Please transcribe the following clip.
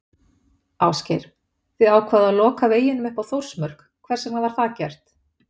Ásgeir: Þið ákváðuð að loka veginum upp að Þórsmörk, hvers vegna var það gert?